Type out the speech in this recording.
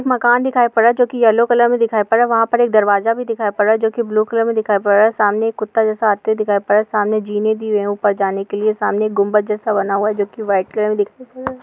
एक मकान दिखाई पर रहा हैं जो की येलो कलर का दिखाईं पर रहा हैं वहां पर एक दरवाजा भी दिखाई पर रहा हैं ब्लू कलर मे दिखाई पर रहा हैं सामने एक कुत्ता जैसा आता दिख रहा हैं सामने जीनी दी हुई हैं ऊपर जाने के लिए सामने गुम्बज जैसा बना हुआ है जो की व्हाइट कलर मे दिख --